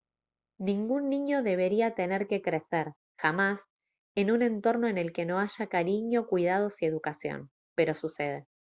ningún niño debería tener que crecer jamás en un entorno en el que no haya cariño cuidados y educación pero sucede